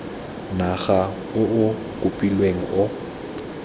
naga o o kopilweng o